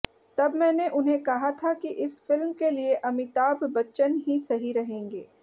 तब मैंने उन्हें कहा था कि इस फिल्म के लिए अमिताभ बच्चन ही सही रहेंगे